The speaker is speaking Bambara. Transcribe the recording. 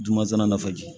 Juma na faji